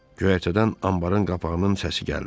Göyərtədən anbarın qapağının səsi gəldi.